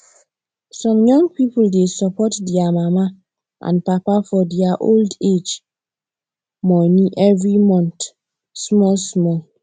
some young people dey support their mama and papa for their old age money every month small small